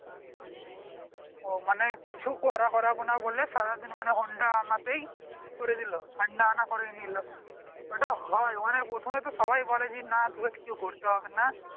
ও মানে কিছু করা করাবো না বলে সারাদিন মনে honda আনতে ই করে দিল honda আনা করে নিলো ওটা হয় মানে প্রথমে তো সবাই বলে যে না তোকে কিছু করতে হবে না